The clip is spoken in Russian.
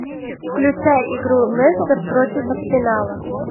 включай игру лестер против арсенала